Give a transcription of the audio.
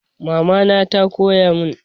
Mama na ta koya mun